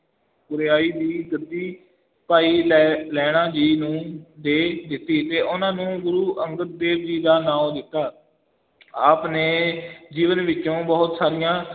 ਗੁਰਿਆਈ ਦੀ ਗੱਦੀ ਭਾਈ ਲਹਿ~ ਲਹਿਣਾ ਜੀ ਨੂੰ ਦੇ ਦਿੱਤੀ ਤੇ ਉਹਨਾਂ ਨੂੰ ਗੁਰੂ ਅੰਗਦ ਦੇਵ ਜੀ ਦਾ ਨਾਉਂ ਦਿੱਤਾ ਆਪ ਨੇ ਜੀਵਨ ਵਿੱਚੋਂ ਬਹੁਤ ਸਾਰੀਆਂ